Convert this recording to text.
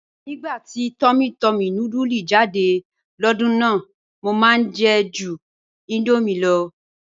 "̀Nígbà tí túmmỳ túmmỳ núdùlù jáde lódùn náà, mọ̀ máá jẹ̀ jù Indomie ló.